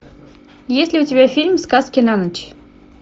есть ли у тебя фильм сказки на ночь